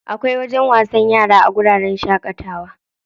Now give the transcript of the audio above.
Akwai wajen wasan yara a wuraren shaƙatawa.